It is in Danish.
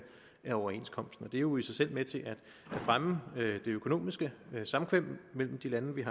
af overenskomsten det er jo i sig selv med til at fremme det økonomiske samkvem mellem de lande vi